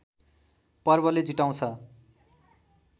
पर्वले जुटाउँछ